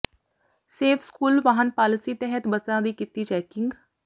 safe school ਵਾਹਨ policy ਤਹਿਤ ਬੱਸਾਂ ਦੀ ਕੀਤੀ ਚੈਕਿੰਗ